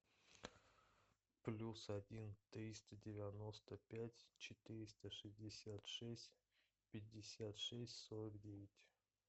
плюс один триста девяносто пять четыреста шестьдесят шесть пятьдесят шесть сорок девять